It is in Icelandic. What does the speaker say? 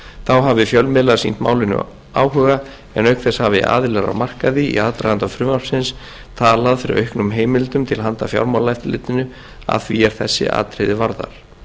þá hafi fjölmiðlar sýnt málinu áhuga en auk þess hafi aðilar á markaði í aðdraganda frumvarpsins talað fyrir auknum heimildum til handa fjármálaeftirlitinu að því er þessi atriði varðar